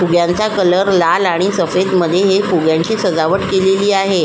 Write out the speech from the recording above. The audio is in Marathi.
फुग्यांचा कलर लाल आणि सफेद मधे हे फुग्यांची सजावट केलेली आहे.